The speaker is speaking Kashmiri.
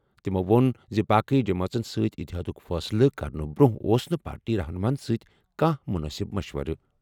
تٔمۍ ووٚن زِ باقٕے جمٲژن سۭتۍ اِتحادُک فٲصلہٕ کرنہٕ برٛونٛہہ اوس نہٕ پارٹی رہنُماہن سۭتۍ کانٛہہ مُنٲسِب مشور۔